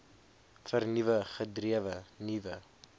vernuwend gedrewe nuwe